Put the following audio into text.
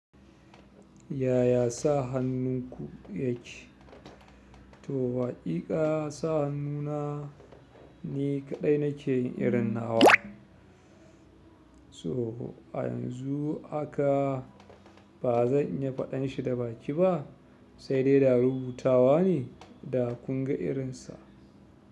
Yaya sa hannunku yake? To, waƙiƙa sa hannuna ni kaɗai na ke irin na. So a yanzu haka ba zan iya faɗan shi da baki ba, sai dai da rubutawa ne da kun ga irinsa.